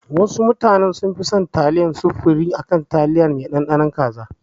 Wasu mutanen sun fi son taliyar sufurim akan taliyar indomi mai ɗanɗanon kaza